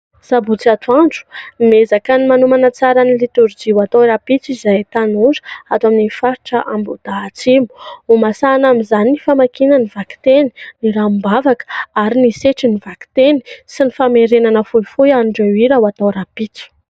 Sabotsy atoandro, miezaka ny manomana tsara ny litorjia atao rahampitso izahay tanora ato amin'ny faritra Ambohidahy Atsimo ; ho masahana amin'izany ny famakiana ny vakiteny, ny ranombavaka ary ny setrin'ny vakiteny sy ny famerenana fohifohy an'ireo hira ho atao rahampitso.